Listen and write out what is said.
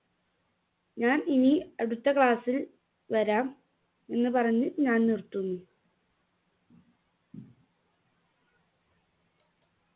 ഞാൻ ഇനി അടുത്ത class ൽ വരാം എന്ന് പറഞ്ഞു ഞാൻ നിറുത്തുന്നു.